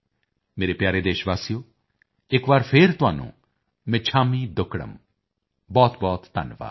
ਮੇਰੇ ਪਿਆਰੇ ਦੇਸ਼ ਵਾਸੀਓ ਇੱਕ ਵਾਰ ਫੇਰ ਤੁਹਾਨੂੰ ਮਿੱਛਾਮੀ ਦੁੱਕੜਮ ਬਹੁਤਬਹੁਤ ਧੰਨਵਾਦ